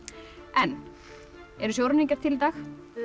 en eru sjóræningjar til í dag já